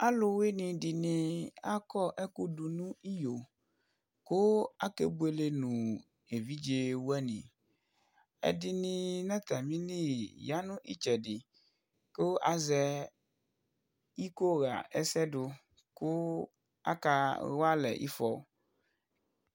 alʊwɩnɩ dɩnɩ akɔ ɛkʊ dʊ nʊ iyo, kʊ akebuele nʊ evidzewanɩ, ɛdɩnɩ ya nʊ itsɛdɩ, kʊ azɛ iko ɣa ɛsɛ dʊ, kʊ akawa alɛ ifɔ